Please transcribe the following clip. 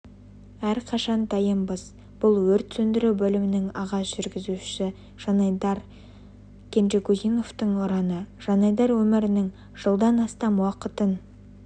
әрқашан дайынбыз бұл өрт сөндіру бөлімінің аға жүргізушісі жанайдар кенжегузиновтың ұраны жанайдар өмірінің жылдан астам уақытын